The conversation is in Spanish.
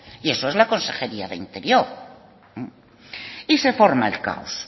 y eso es la consejería de interior y se forma el caos